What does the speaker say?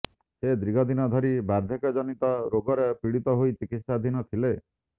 ସେ ଦୀର୍ଘଦିନ ଧରି ବାର୍ଦ୍ଧକ୍ୟଜନିତ ରୋଗରେ ପୀଡ଼ିତ ହୋଇ ଚିକିତ୍ସାଧୀନ ଥିଲେ